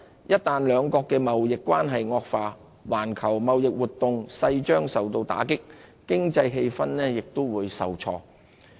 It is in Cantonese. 一旦兩國的貿易關係惡化，環球貿易活動勢將受到打擊，經濟氣氛也會受挫。